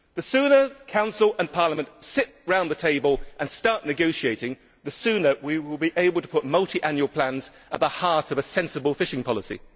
The sooner the Council and Parliament sit round the table and start negotiating, the sooner we will be able to put multiannual plans at the heart of a sensible fishing policy.